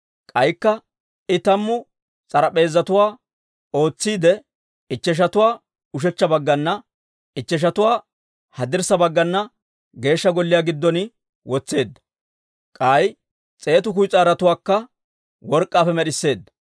K'aykka I tammu s'arp'p'eezatuwaa ootsiide, ichcheshatuwaa ushechcha baggana, ichcheshatuwaa haddirssa baggana Geeshsha Golliyaa giddon wotseedda. K'ay s'eetu kuyis'aarotuwaakka work'k'aappe med'isseedda.